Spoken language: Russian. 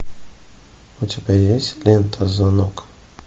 у тебя есть лента звонок